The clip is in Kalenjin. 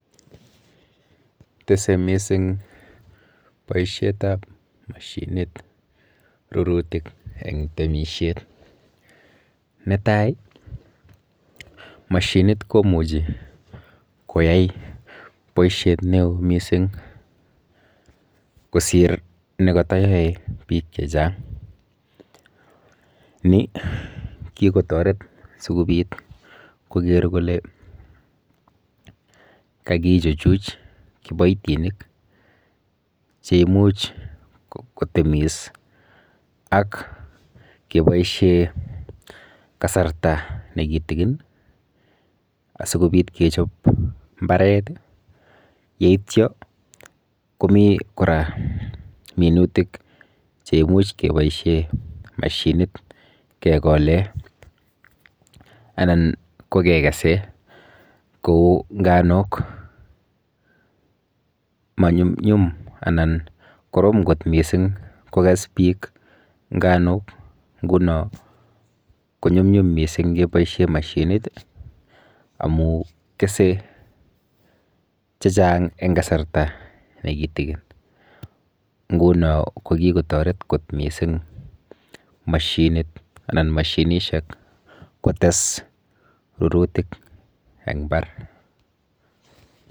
Tese mising boishetap mashinit rurutik eng temishet. Netai, mashinit komuchi koyai boishet neo mising kosir nekatayoe biik chechang. Ni kikotoret sikobit koker kole kakichuchuch kiboitinik cheimuch kotemis ak keboishe kasarta nekitikin asikobit kechop mbaret yeityo komi kora minutik cheimuch keboishe mashinit kekole anan ko kekese kou nganok. Manyumnyum anan korom kot mising kokes biik nganok nguno konyumnyum mising keboishe mashinit amu kese chechang eng kasarta nekitikin nguno ko kikotoret kot mising mashinit anan mashinishek kotes rurutik eng mbar.